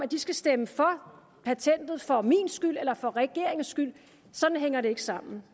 de skal stemme for patentet for min skyld eller for regeringens skyld sådan hænger det ikke sammen